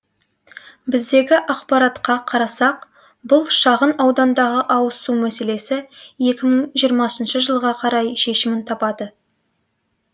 біздегі ақпаратқа қарасақ бұл шағын аудандағы ауыз су мәселесі екі мың жиырмасыншы жылға қарай шешімін табады